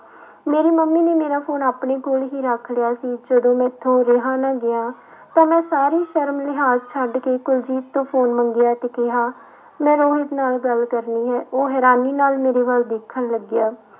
ਮੇਰੀ ਮੰਮੀ ਨੇ ਮੇਰਾ ਫ਼ੋਨ ਆਪਣੇ ਕੋਲ ਹੀ ਰੱਖ ਲਿਆ ਸੀ ਜਦੋਂ ਮੈਥੋਂ ਰਿਹਾ ਨਾ ਗਿਆ ਤਾਂ ਮੈਂ ਸਾਰੀ ਸ਼ਰਮ ਲਿਹਾਜ਼ ਛੱਡ ਕੇ ਕੁਲਜੀਤ ਤੋਂ ਫ਼ੋਨ ਮੰਗਿਆ ਤੇ ਕਿਹਾ ਮੈਂ ਰੋਹਿਤ ਨਾਲ ਗੱਲ ਕਰਨੀ ਹੈ ਉਹ ਹੈਰਾਨੀ ਨਾਲ ਮੇਰੇ ਵੱਲ ਦੇਖਣ ਲੱਗਿਆ,